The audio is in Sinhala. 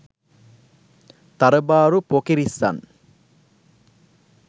තරබාරු පොකිරිස්සන්